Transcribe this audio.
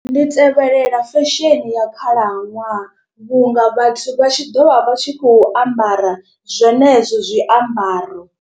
Ndi tevhelela fashion ya khalaṅwaha vhunga vhathu vha tshi ḓo vha vha tshi khou ambara zwenezwo zwiambaro.